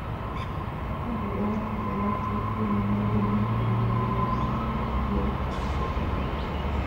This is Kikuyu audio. Kalenda yakwa ĩgaacokio na maũndũ mothe ma mweri wa gatatũ cia rccg